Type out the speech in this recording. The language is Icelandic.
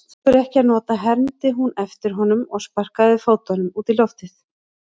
Af hverju ekki að nota, hermdi hún eftir honum og sparkaði fótunum út í loftið.